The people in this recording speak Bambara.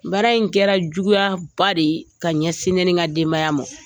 Baara in kɛra juguyaba de ye ka ɲɛsin ne ni n ka denbaya ma